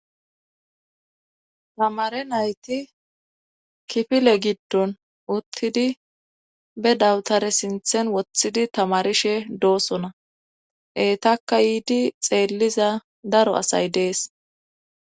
tamare nayti kifile giddon uttidi be dawutare sinthen woththidi tamarishe doosona etaka yiidi xeelliza daro asay dees